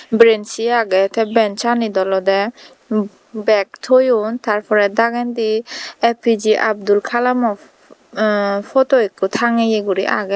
brenci agey tey benchanit olodey mm bag toyon tar porey dagendi A_P_K abdul kalamo eh photo ikko tangeye guri agey.